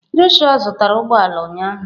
Joshua zụtara ụgbọ ala ụnyahụ